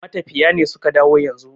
matafiya ne suka dawo yanzu